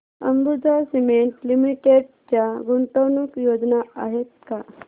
Ambuja cement limited च्या गुंतवणूक योजना आहेत का